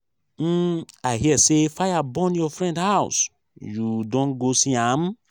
um i hear say fire burn your friend house you don go see am?